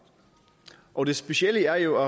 og det specielle er jo